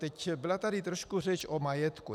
Teď byla tady trošku řeč o majetku.